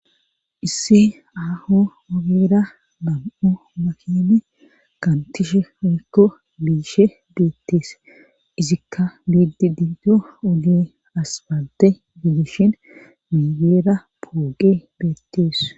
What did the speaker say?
isse aaho obera bam7o makene kantishe omekko biishe beettees izikka biidi diido ugi aspalte fiidishin migeera pooqe beettees